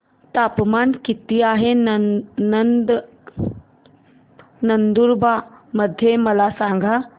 तापमान किता आहे नंदुरबार मध्ये मला सांगा